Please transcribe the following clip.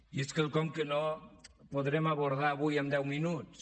i és quelcom que no podrem abordar avui en deu minuts